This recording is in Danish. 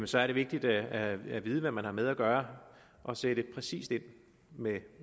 så er det vigtigt at vide hvad man har med at gøre og sætte præcist ind med